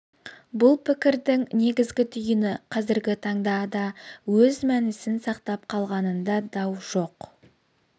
бұл пікірдің негізгі түйіні қазіргі таңда да өз мәнісін сақтап қалғанында дау жоқ